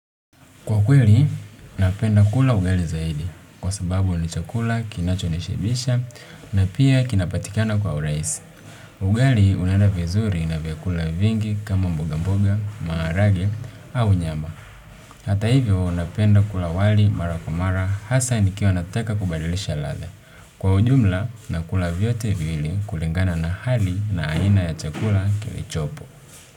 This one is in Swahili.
Kwa kweli, napenda kula ugali zaidi kwa sababu ni chakula kinachonishibisha na pia kinapatikana kwa urahisi. Ugali unaenda vizuri na vyakula vingi kama mboga mboga, maharage au nyama. Hata hivyo, napenda kula wali mara kwa mara, hasa nikiwa nataka kubadilisha ladha. Kwa ujumla, nakula vyote viwili kulingana na hali na aina ya chakula kilichopo.